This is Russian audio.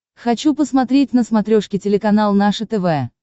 хочу посмотреть на смотрешке телеканал наше тв